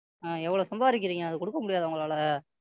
ஆ எவ்வளவு சம்பாரிக்குறீங்க அதைக் கொடுக்க முடியாதா? உங்களால